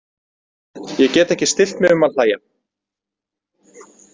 Ég get ekki stillt mig um að hlæja.